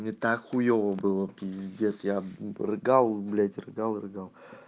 мне так хуева была здесь пиздец я рыгал рыгал рыгал